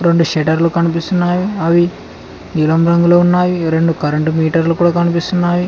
రొండు షట్టర్లు కనిపిస్తున్నాయి అవి నీలం రంగులో ఉన్నాయి రెండు కరెంటు మీటర్లు కూడా కనిపిస్తున్నాయి.